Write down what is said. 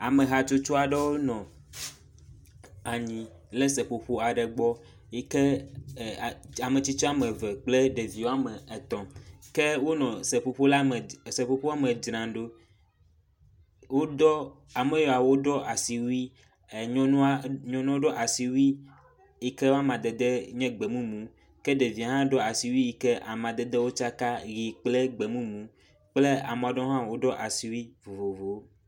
Ame hatsotso aɖewo nɔ anyi le seƒoƒo aɖe gbɔ yike ametsitsi woame eve kple ɖevi woame etɔ̃, ke wonɔ seƒoƒo la me, seƒoƒoa me dzram ɖo. Wodɔ, ame yawo woɖɔ asiwui, nyɔnua, nyɔnuɔ ɖɔ asiwui yike woa madede nye gbemumu. Ke ɖevie hã ɖɔ asiwui yike amadedewo tsaka, ʋɛ̃ kple gbemumu kple amea ɖewo hã woɖɔ asiwui vovovowo.